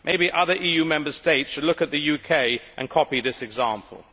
Maybe other EU Member States should look at the UK and copy this example.